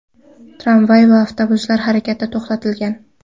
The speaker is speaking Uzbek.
Tramvay va avtobuslar harakati to‘xtatilgan.